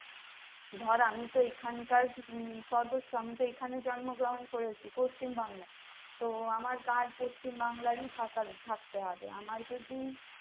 ধর আমি তো এখানকার হম সর্বস্ব আমি তো এইখানে জন্মগ্রহণ করেছি পশ্চিমবাংলায় তো আমার card পশ্চিমবাংলার থাকার থাকতে হবে আমার যদি